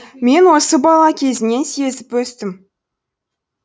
мен осы бала кезімнен сезіп өстім